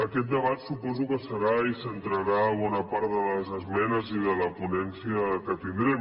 aquest debat suposo que hi serà i centrarà bona part de les esmenes i de la ponència que tindrem